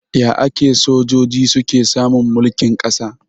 Ya ake sojoji suke samun mulkin kasa?